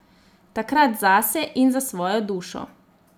Takrat zase in za svojo dušo.